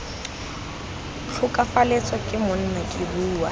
tlhokafalatswe ke monna ke bua